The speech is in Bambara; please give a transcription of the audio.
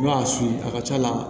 I b'a su a ka ca la